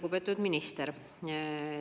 Lugupeetud minister!